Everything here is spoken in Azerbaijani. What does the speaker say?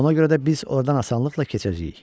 Ona görə də biz ordan asanlıqla keçəcəyik.